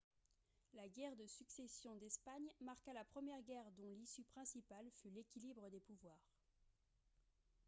la guerre de succession d'espagne marqua la première guerre dont l'issue principale fut l'équilibre des pouvoirs